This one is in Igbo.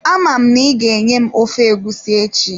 Ama m n'iga-enye m ofe egusi echi.